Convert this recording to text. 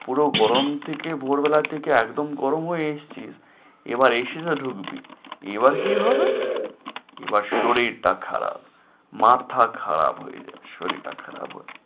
পুরো গরম থেকে ভোর বেলা থেকে একদম গরম হয়ে এসেছিস, এবার AC তে ঢুকবি এবার কি হবে? এবার শরীরটা খারাপ, মাথাটা খারাপ হয়ে যাচ্ছে, শরীরটা খারাপ